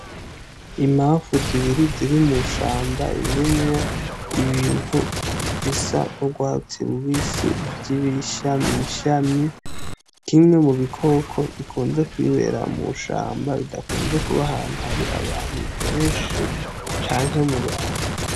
Imanfu zibiri ziri mu shamba irimwo ibintu bisa n'ugwatsi rubisi vy' ibishami shami kimwe mu bikoko bikunze kwibera mw'ishamba bidakunze kuba ahantu hari abantu benshi canke mu bantu.